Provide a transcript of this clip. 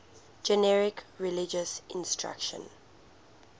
generic religious instruction